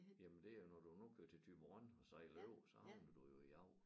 Jamen det er når du nu kører til Thyborøn og sejler over så havner du jo i Agger